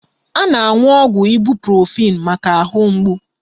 A na-aṅụ ọgwụ ịbuprofin maka ahụ mgbu